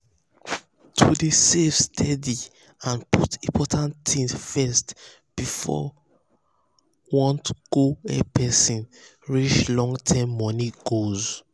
to dey save steady and um put important things first before wants go help person reach long-term money goals.